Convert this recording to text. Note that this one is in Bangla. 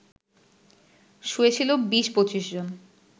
শুয়ে ছিলো ২০-২৫ জন